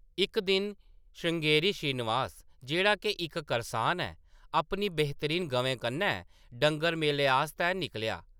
इक दिन, श्रृंगेरी श्रीनिवास, जेह्‌ड़ा के इक करसान ऐ, अपनी बेहतरीन गवें कन्नै डंगर मेले आस्तै निकलेआ ।